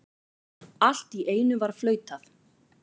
Allt í einu var flautað.